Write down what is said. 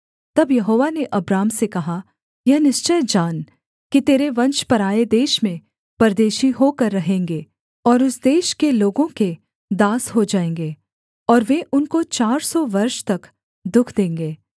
तब यहोवा ने अब्राम से कहा यह निश्चय जान कि तेरे वंश पराए देश में परदेशी होकर रहेंगे और उस देश के लोगों के दास हो जाएँगे और वे उनको चार सौ वर्ष तक दुःख देंगे